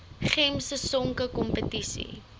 gems sisonke kompetisie